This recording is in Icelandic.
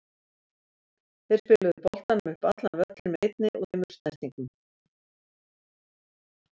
Þeir spiluðu boltanum upp allan völlinn með einni og tveimur snertingum.